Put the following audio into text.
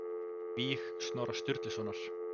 Víg Snorra Sturlusonar